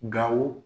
Gawo